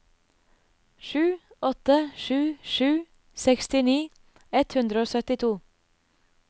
sju åtte sju sju sekstini ett hundre og syttito